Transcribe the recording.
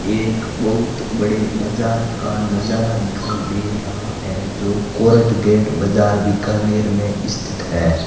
एक बहुत बड़े बाजार का नजारा दिखाई दे रहा है जो कोर्ट गेट बाजार बीकानेर में स्थित है।